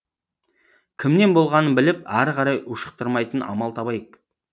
кімнен болғанын біліп ары қарай ушықтырмайтын амал табайық